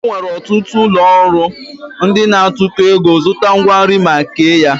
E nwere ọtụtụ ụlọọrụ ndị na-atụkọ ego zụta ngwa nri ma kee ya